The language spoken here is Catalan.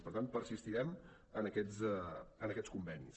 per tant persistirem en aquests convenis